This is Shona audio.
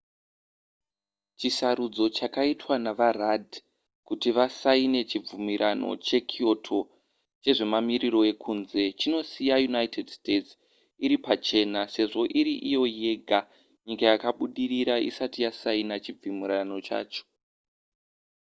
chisarudzo chakaitwa navarudd kuti vasaine chibvumirano chekyoto chezvemamiriro ekunze chinosiya united states iri pachena sezvo iri iyo yega nyika yakabudirira isati yasaina chibvumirano chacho